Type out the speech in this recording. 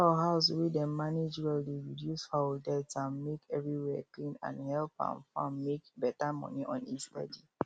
fowl house wey dem manage well dey reduce fowl death um make everywhere clean and help um farm make better money on a steady